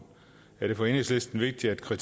det